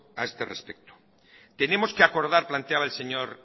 a este respecto tenemos que acordar planteaba el señor